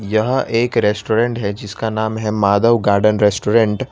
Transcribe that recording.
यहां एक रेस्टोरेंट है जिसका नाम है माधव गार्डन रेस्टोरेंट ।